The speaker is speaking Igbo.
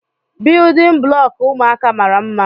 Biyudin bụlọku ụmụaka mara mma.